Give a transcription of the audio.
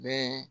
Bɛɛ